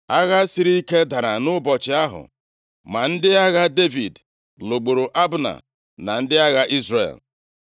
Agha siri ike dara nʼụbọchị ahụ. Ma ndị agha Devid lụgburu Abna na ndị agha Izrel.